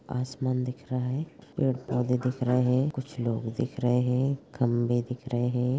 आसमान दिख रहा हैं पेड़-पौधे दिख रहे हैं कुछ लोग दिख रहे हैं खंबे दिख रहे हैं।